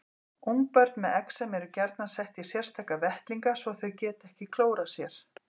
Ungbörn með exem eru gjarnan sett í sérstaka vettlinga svo þau geti ekki klórað sér.